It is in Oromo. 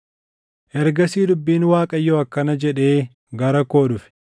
Ergasii dubbiin Waaqayyoo akkana jedhee gara koo dhufe: